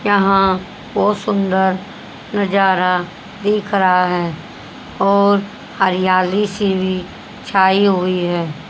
यहां बहोत सुंदर नजारा दिख रहा है और हरियाली सी भी छाई हुई है।